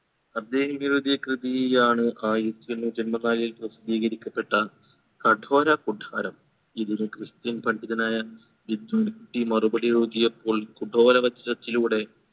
അദ്ദേഹം എഴുതിയ കൃതിയിയാണ് ആയിരത്തി എണ്ണൂറ്റി എമ്പത്തിനാലിൽ പ്രസിദ്ധീകരിക്കപ്പെട്ട കടോര കൂടാരം ഇതിന് christian പണ്ഡിതനായ ഇസ്മായിൽ കുട്ടി മറുപടി എഴുതിയപ്പോൾ കടോര വജ്രത്തിലൂടെ